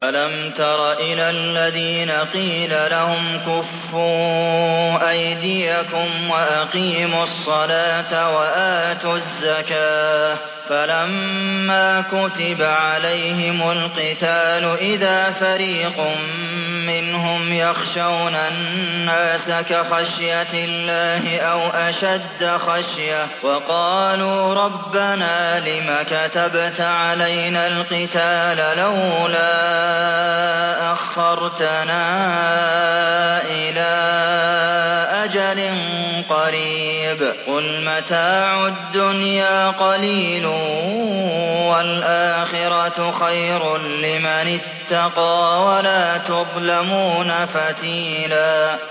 أَلَمْ تَرَ إِلَى الَّذِينَ قِيلَ لَهُمْ كُفُّوا أَيْدِيَكُمْ وَأَقِيمُوا الصَّلَاةَ وَآتُوا الزَّكَاةَ فَلَمَّا كُتِبَ عَلَيْهِمُ الْقِتَالُ إِذَا فَرِيقٌ مِّنْهُمْ يَخْشَوْنَ النَّاسَ كَخَشْيَةِ اللَّهِ أَوْ أَشَدَّ خَشْيَةً ۚ وَقَالُوا رَبَّنَا لِمَ كَتَبْتَ عَلَيْنَا الْقِتَالَ لَوْلَا أَخَّرْتَنَا إِلَىٰ أَجَلٍ قَرِيبٍ ۗ قُلْ مَتَاعُ الدُّنْيَا قَلِيلٌ وَالْآخِرَةُ خَيْرٌ لِّمَنِ اتَّقَىٰ وَلَا تُظْلَمُونَ فَتِيلًا